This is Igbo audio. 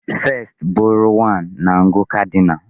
1st bụrụ 1 na ngụ cardinal.